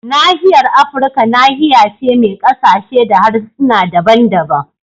Nahiyar Afirka nahiya ce mai kasashe da harsuna daban-daban